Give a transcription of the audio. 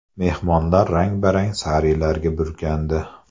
Mehmonlar rang-barang sarilarga burkandi.